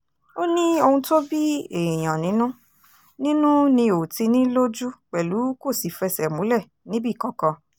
ó ní ohun tó bí èèyàn nínú nínú ni ò ti ní lójú pẹ̀lú kó sì fẹsẹ̀ múlẹ̀ níbì kankan